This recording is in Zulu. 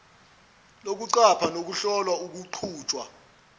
lokuqapha nokuhlola ukuqhutshwa